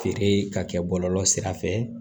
Feere ka kɛ bɔlɔlɔ sira fɛ